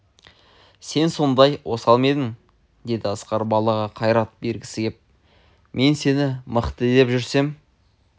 сен сондай осал ма едің деді асқар балаға қайрат бергісі кеп мен сені мықты деп жүрсем